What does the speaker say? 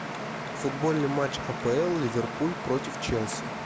футбольный матч апл ливерпуль против челси